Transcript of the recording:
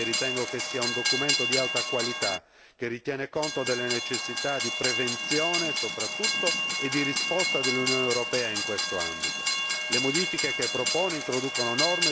Ho votato a favore di questa relazione perché ritengo che sia un documento di alta qualità, che tiene conto delle necessità di prevenzione soprattutto e di risposta dell'Unione europea in questo ambito.